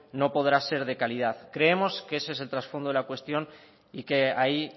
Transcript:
no podrá ser de calidad creemos que ese es el trasfondo de la cuestión y que ahí